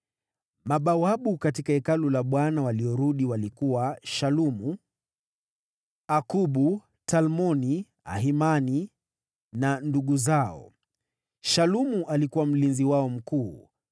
Mabawabu katika Hekalu la Bwana waliorudi walikuwa: Shalumu, Akubu, Talmoni, Ahimani na ndugu zao. Shalumu alikuwa mlinzi wao mkuu.